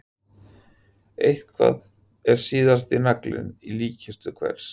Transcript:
Eitthvað er síðasti naglinn í líkkistu einhvers